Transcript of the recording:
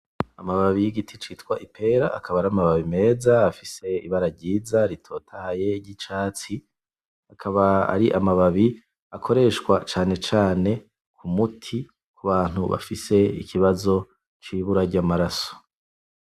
Amababi y'igiti citwa ipera, akaba aramababi meza afise ibara ryiza ritotahaye ry'icatsi , akaba ari amababi akoresha cane cane k'umuti kubantu bafise ikibazo c'ibura ry'amaraso .